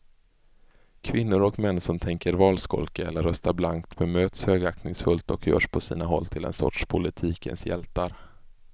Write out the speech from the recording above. Kvinnor och män som tänker valskolka eller rösta blankt bemöts högaktningsfullt och görs på sina håll till en sorts politikens hjältar.